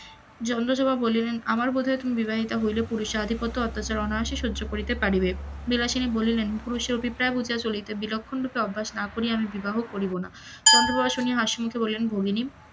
চন্দপ্রভা বলিলেন আবার বোধ হয় তুমি বিবাহিতা হইলে পুরুষের আধিপত্য অনায়াসে সহ্য করিতে পারিবে, বিলাসিনী বলিলেন পুরুষের অভিপ্রায় বুঝিয়া চলিতে বিলক্ষন রূপে অভ্যাস না করিয়া আমি বিবাহ করিব না, চন্দ্র প্রভা শুনিয়া হাসিমুখে বলিলেন মোহিনী,